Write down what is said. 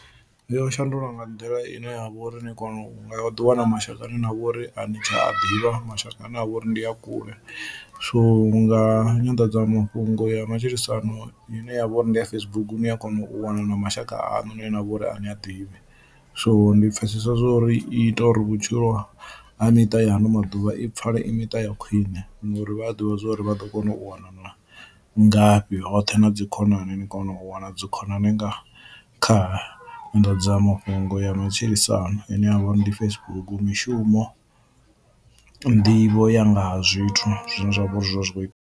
Yo shandula nga nḓila ine ya vhori ni kona u nga ḓi wana mashaka ane na vhori a ni tsha a ḓivha mashaka ane a vhori ndi a kule so nga nyanḓadzamafhungo ya matshilisano ine yavha uri ndi ya Facebook ni a kona u wana na mashaka aṋu ni ne na vhori a ni a ḓivhi. So ndi pfhesesa zwo uri i ita uri vhutshilo ha miṱa ya ano maḓuvha i pfhale i miṱa ya khwine ngori vha a ḓivha zwori vha ḓo kona u wanana ngafhi hoṱhe na dzi khonani, ni kona u wana dzi khonani nga kha nyanḓadzamafhungo ya matshilisano ine ya vha uri ndi Facebook mishumo nḓivho ya nga ha zwithu zwine zwa vhori zwi kho i.